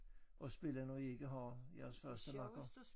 At spille når I ikke har jeres første makker